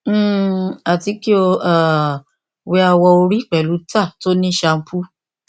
um ati ki o um wẹ awọ ori pẹlu tar ti o ni sampo